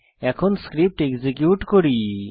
এখন script execute করি